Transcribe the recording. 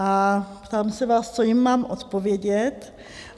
A ptám se vás: Co jim mám odpovědět?